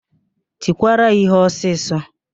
Tikwuru ya íhé ọsịsọ!